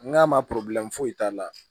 N k'a ma foyi t'a la